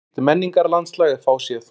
Slíkt menningarlandslag er fáséð.